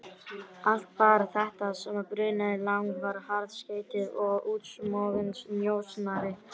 Allt bar þetta að sama brunni, Lang var harðskeyttur og útsmoginn njósnari.